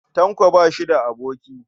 Tanko ba shi da aboki.